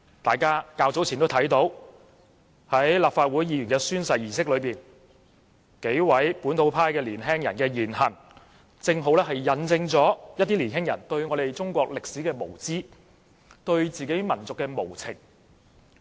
大家較早前也看到，立法會議員進行宣誓時，數名本土派青年人的言行，這正好引證一些青年人對中國歷史的無知，對自己民族的無情。